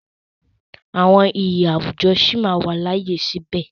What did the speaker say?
Àwọn iyì àwùjọ sí máa wà láàyè síbẹ̀.